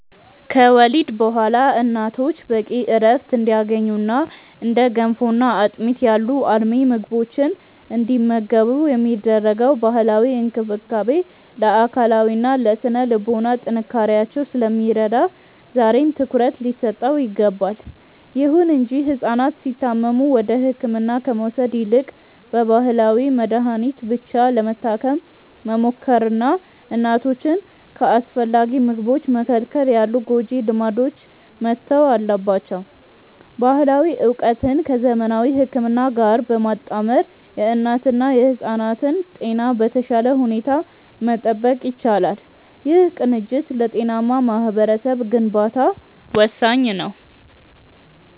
ከወሊድ በኋላ እናቶች በቂ ዕረፍት እንዲያገኙና እንደ ገንፎና አጥሚት ያሉ አልሚ ምግቦችን እንዲመገቡ የሚደረገው ባህላዊ እንክብካቤ ለአካላዊና ለሥነ-ልቦና ጥንካሬያቸው ስለሚረዳ ዛሬም ትኩረት ሊሰጠው ይገባል። ይሁን እንጂ ሕፃናት ሲታመሙ ወደ ሕክምና ከመውሰድ ይልቅ በባህላዊ መድኃኒት ብቻ ለመታከም መሞከርና እናቶችን ከአስፈላጊ ምግቦች መከልከል ያሉ ጎጂ ልማዶች መተው አለባቸው። ባህላዊ ዕውቀትን ከዘመናዊ ሕክምና ጋር በማጣመር የእናትና የሕፃናትን ጤና በተሻለ ሁኔታ መጠበቅ ይቻላል። ይህ ቅንጅት ለጤናማ ማኅበረሰብ ግንባታ ወሳኝ ነው።